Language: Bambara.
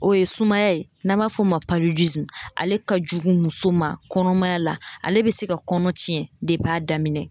O ye sumaya ye n'an b'a f'o ma palidizimu ale ka jugu muso ma kɔnɔmaya la ale be se ka kɔnɔ ciyɛn depi a daminɛ